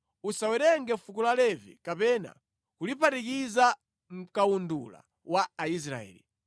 “Usawerenge fuko la Levi kapena kuliphatikiza mʼkawundula wa Aisraeli.